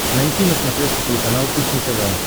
найти на смотрешке телеканал кухня тв